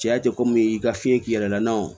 Cɛya tɛ komi i ka fiɲɛ k'i yɛrɛ la wo